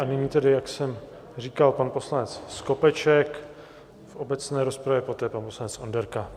A nyní tedy, jak jsem říkal, pan poslanec Skopeček v obecné rozpravě, poté pan poslanec Onderka.